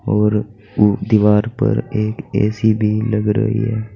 और उ दीवार पर एक ए_सी भी लग रही है।